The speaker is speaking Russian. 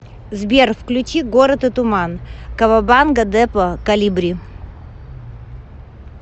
сбер включи город и туман кавабанга депо колибри